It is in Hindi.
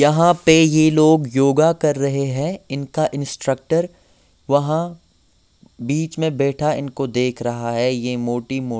यहाँ पे ये लोग योगा कर रहे हैं इनका इंस्ट्रक्टर वहाँ बीच में बैठा इनको देख रहा हैं ये मोटी मो--